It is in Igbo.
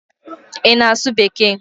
Ị na-asụ bekee?